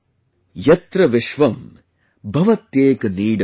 "YatraVishwamBhavatyekNeedam"